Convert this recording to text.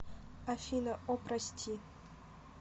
афина о прости